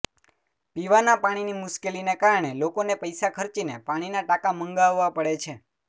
પીવાનાં પાણીની મુશ્કેલીને કારણે લોકોને પૈસા ખર્ચીને પાણીનાં ટાંકા મંગાવવા પડે છે